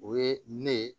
O ye ne ye